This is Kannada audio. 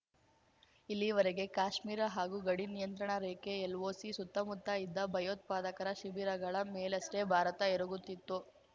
ಇಲ್ಲಿವರೆಗೆ ಕಾಶ್ಮೀರ ಹಾಗೂ ಗಡಿ ನಿಯಂತ್ರಣ ರೇಖೆ ಎಲ್‌ಒಸಿ ಸುತ್ತಮುತ್ತ ಇದ್ದ ಭಯೋತ್ಪಾದಕರ ಶಿಬಿರಗಳ ಮೇಲಷ್ಟೇ ಭಾರತ ಎರಗುತ್ತಿತ್ತು